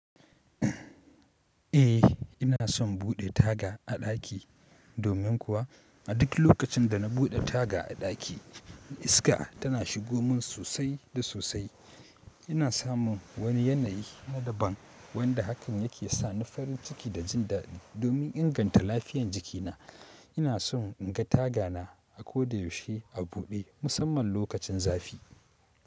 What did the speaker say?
Eh ina son buɗe taga a ɗaki, domin kuwa a duk lokacin da na buɗe taga a ɗaki iska tana shigo mun sosai da sosai. Ina samun wani yanayi na daban wanda hakan yake sa ni farin ciki da jin daɗi. Domin inganta lafiyan jikina ina son in ga tagana a ko da yaushe a buɗe musamman lokacin zafi.